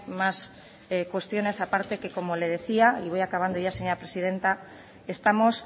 más cuestiones a parte que como le decía y voy acabando ya señora presidenta estamos